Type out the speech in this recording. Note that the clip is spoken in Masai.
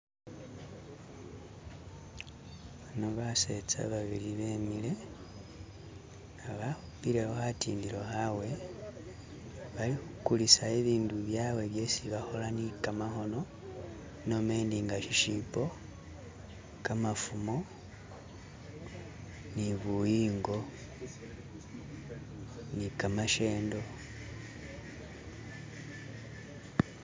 Bano basetsa babili bamile nga bakhupilewo khatindilo khawe balikhukulisa ibindu byawe byesi bakhola ni khamakhono nomendi inga shishibo kamafumo nibuyingo ni ki mishendo